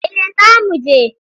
Eh za mu je.